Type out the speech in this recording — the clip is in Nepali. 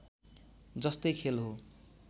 जस्तै खेल हो